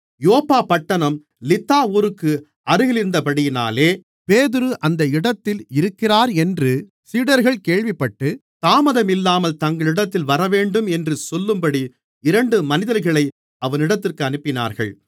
யோப்பா பட்டணம் லித்தா ஊருக்கு அருகிலிருந்தபடியினாலே பேதுரு அந்த இடத்தில் இருக்கிறானென்று சீடர்கள் கேள்விப்பட்டு தாமதமில்லாமல் தங்களிடத்தில் வரவேண்டும் என்று சொல்லும்படி இரண்டு மனிதர்களை அவனிடத்திற்கு அனுப்பினார்கள்